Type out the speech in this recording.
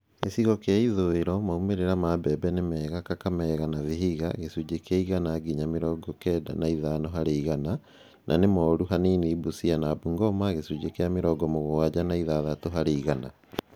Gĩcigo kĩa ithũũĩro maumĩrĩra ma mbembe nĩ mega Kakamega na Vihiga ( gĩcunjĩ kĩa igana nginya mĩrongo kenda na ithano harĩ igana), na nĩ moru hanini Busia na Bungoma (gĩcunjĩ kĩa mĩrongo mũgwanja na ithathatũ harĩ igana)